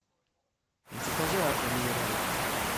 закажи аква минерале